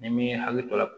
Ni m'i hakili to la